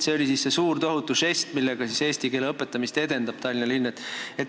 See oli siis see suur tohutu žest, millega Tallinna linn eesti keele õpetamist edendab.